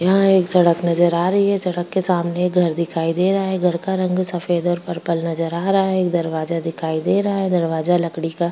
यहाँ एक सड़क नजर आ रही है सड़क के सामने घर दिखाई दे रहा घर का रंग सफेद और पर्पल नजर आ रहा है दरवाजा दिखाई दे रहा दरवाजा लकड़ी का --